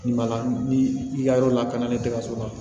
Nin ma la ni i ka yɔrɔ lakana ni tɛ ka so la